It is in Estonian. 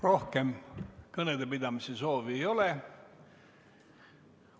Rohkem kõnepidamise soovi ei ole.